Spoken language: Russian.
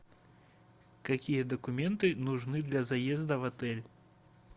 какие документы нужны для заезда в отель